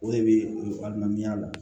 O de bɛ balimaya la